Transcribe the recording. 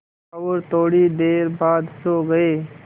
और थोड़ी देर बाद सो गए